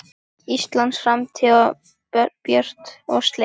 Íslands framtíð björt og slétt.